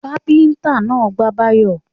Kápẹ́ńtà náà gbá Báyọ̀.